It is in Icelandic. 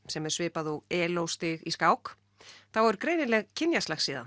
sem er svipað og stig í skák þá er greinileg